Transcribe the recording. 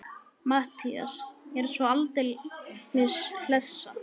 MATTHÍAS: Ég er svo aldeilis hlessa.